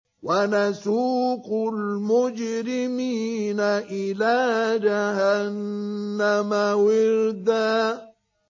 وَنَسُوقُ الْمُجْرِمِينَ إِلَىٰ جَهَنَّمَ وِرْدًا